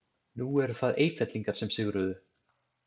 Nú eru það Eyfellingar sem sigruðu.